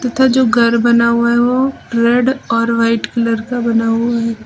इधर जो घर बना हुआ है वो रेड और वाइट कलर का बना हुआ है।